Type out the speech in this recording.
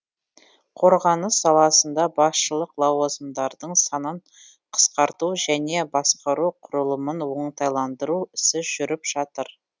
қорғаныс саласында басшылық лауазымдардың санын қысқарту және басқару құрылымын оңтайландыру ісі жүріп жатыр